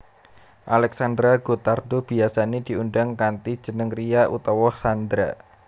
Alexandra Gottardo biyasané diundang kanthi jeneng Ria utawa Xandra